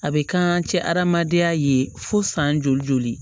A bɛ kan cɛ hadamadenya ye fo san joli joli